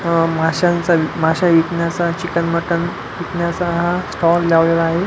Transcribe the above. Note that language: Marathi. अह मस्याच मस्या विकण्याच चिकन मटण विकण्याच स्टॉल लावलेला आहे.